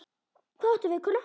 Hvað áttu við, kona?